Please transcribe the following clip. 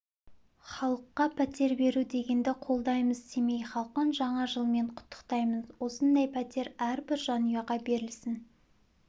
халыққа пәтер беру дегенді қолдаймыз семей халқын жаңа жылмен құттықтаймын осындай пәтер әрбір жанұяға берілсін